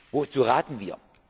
kann. Wozu raten